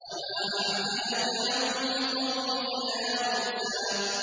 ۞ وَمَا أَعْجَلَكَ عَن قَوْمِكَ يَا مُوسَىٰ